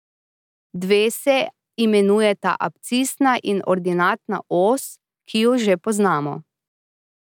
Dve se imenujeta abscisna in ordinatna os, ki ju že poznamo.